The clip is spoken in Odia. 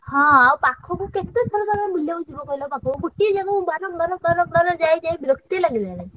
ହଁ ଆଉ ପାଖୁକୁ କେତେ ଥର ତମେ ବୁଲିଆକୁ ଯିବ କହିଲ ମତେ ଗୋଟିଏ ଜାଗାକୁ ବାରମ୍ବାର ବାରମ୍ବାର ଯାଇ ଯାଇ ବିରକ୍ତ ଲାଗିଲାଣି।